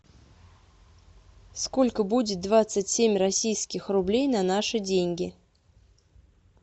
сколько будет двадцать семь российских рублей на наши деньги